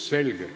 Selge.